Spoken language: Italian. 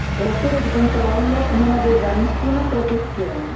e la torre di controllo non aveva nessuna protezione.